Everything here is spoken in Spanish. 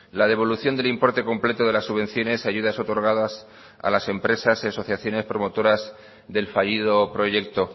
la devolución del importe completo de las subvenciones ayudas otorgadas a las empresas asociaciones promotoras del fallido proyecto